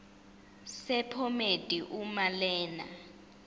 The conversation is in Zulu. sephomedi uma lena